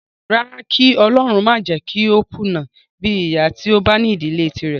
Rárá, kí ọlọrun má jẹ kó kùnà bíi ìyá tí ó bá ní ìdílé tírẹ̀.